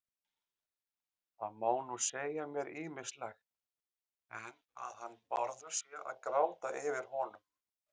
Það má nú segja mér ýmislegt, en að hann Bárður sé að gráta yfir honum